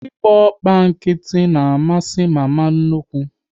Ị gba ọkpọ nkịtị na amasị mama nnukwu